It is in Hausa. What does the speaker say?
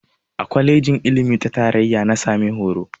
A kwalejin ilimi ta tarayya na sami horo.